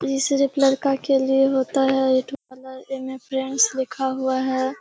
इ सिर्फ लड़का के लिए होता है ब्यूटी पार्लर लिखा हुआ है।